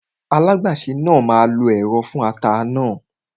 Alágbàsè náà máa lo ẹ̀rọ fún ata náà